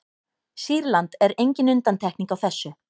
sýrland er engin undantekning á þessu